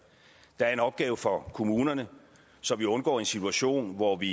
der er en opgave for kommunerne så vi undgår en situation hvor vi